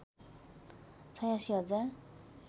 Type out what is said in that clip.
८६ हजार